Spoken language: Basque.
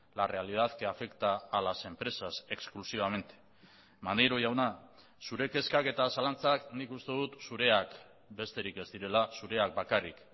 la realidad que afecta a las empresas exclusivamente maneiro jauna zure kezkak eta zalantzak nik uste dut zureak besterik ez direla zureak bakarrik